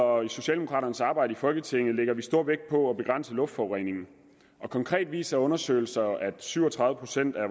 og i socialdemokraternes arbejde i folketinget lægger vi stor vægt på at begrænse luftforureningen konkret viser undersøgelser at syv og tredive procent af